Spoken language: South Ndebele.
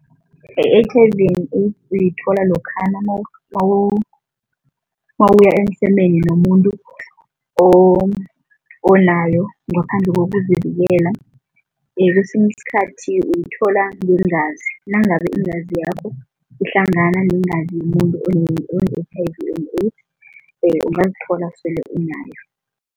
I-H_I_V uyithola lokhana nawuya emsemeni nomuntu onayo ngaphandle kokuzivikela. Kwesinye isikhathi uyithola ngeengazi, nangabe iingazi yakho ihlangana neengazi yomuntu one-H_I_V and AIDS ungazithola sele unayo.